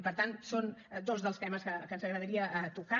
i per tant són dos dels temes que ens agradaria tocar